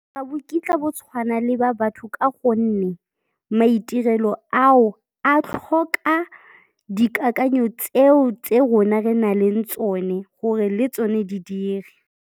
Ga bo kitla bo tshwana le ba batho ka gonne maitirelo ao, a tlhoka dikakanyo tseo tse rona re na leng tsone gore le tsone di dire.